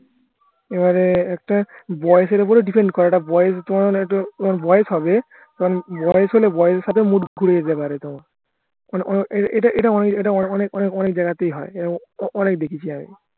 আর একটা বয়সের উপরে defend করে এটা বয়স বয়স হবে তখন বয়স হলে বয়সের সাথে mood ঘুরে যেতে পারে তোমার এটা এটা এটা অনেক অনেক অনেক জায়গাতেই হয় এরম অনেক দেখেছি আমি